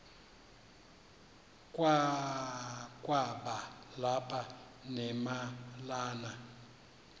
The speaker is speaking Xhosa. kwakaba lapha nemalana